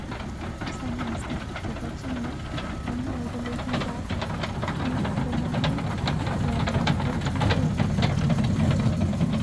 Sayansi chepo China komwa kole pik konameng ya tomokot iger kuiteninaton.